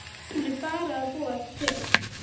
Hún er bara að búa þetta til.